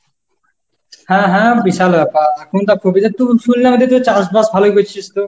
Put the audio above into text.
হ্যাঁ, হ্যাঁ, বিশাল ব্যাপার। এখন তো আর তো শুনলাম এটা তো চাষবাস ভালোই করছিস তো?